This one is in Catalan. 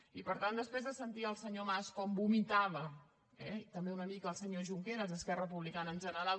i per tant després de sentir el senyor mas com vomitava eh i també una mica el senyor junqueras esquerra republicana en general